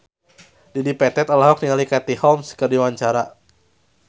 Dedi Petet olohok ningali Katie Holmes keur diwawancara